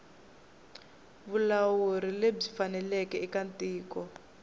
vulawuri lebyi faneleke eka tiko